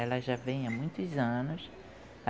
Ela já vem há muitos anos.